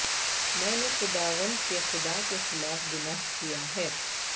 میں نے خداوند کے خدا کے خلاف گناہ کیا ہے